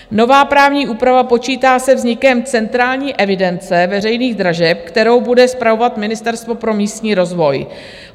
Nová právní úprava počítá se vznikem Centrální evidence veřejných dražeb, kterou bude spravovat Ministerstvo pro místní rozvoj.